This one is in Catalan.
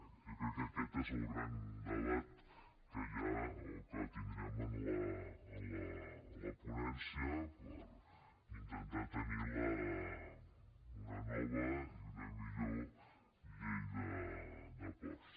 bé jo crec que aquest és el gran debat que hi ha o que tindrem en la ponència per intentar tenir una nova i una millor llei de ports